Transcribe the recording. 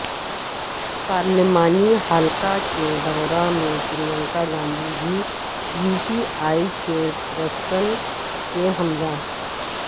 پارلیمانی حلقہ کے دورہ میں پرینکا گاندھی بھی یوپی اے چیرپرسن کے ہمراہ